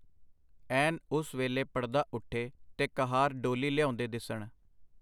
ਐਨ ਉਸ ਵੇਲੇ ਪੜਦਾ ਉਠੇ, ਤੇ ਕਹਾਰ ਡੋਲੀ ਲਿਆਉਂਦੇ ਦਿੱਸਣ.